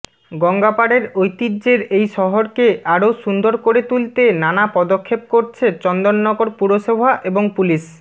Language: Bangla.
গঙ্গাপাড়ের ঐতিহ্যের এই শহরকে আরও সুন্দর করে তুলতে নানা পদক্ষেপ করছে চন্দননগর পুরসভা এবং পুলিশ